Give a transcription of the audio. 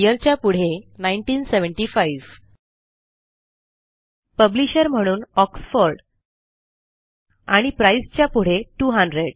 PublishedYearच्या पुढे 1975 पब्लिशर म्हणून ऑक्सफोर्ड आणि प्राइस च्या पुढे 200